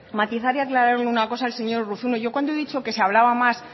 matizar y aclarar una cosa al señor urruzuno yo cuando he dicho que se hablaba más